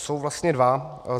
Jsou vlastně dva.